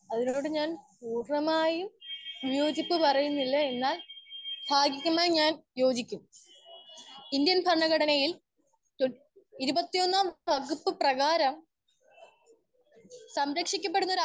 Speaker 1 അതിനോട് ഞാൻ കൂടുതലായും വിയോജിപ്പ് പറയുന്നില്ല എന്നാൽ ഭാഗിഗമായി ഞാൻ യോജിക്കും. ഇന്ത്യൻ ഭരണാഘടനയിൽ ഇരു ഇരുപത്തി ഒന്നാം വകുപ്പ് പ്രെകാരം സംരക്ഷിക്കപ്പെടുന്ന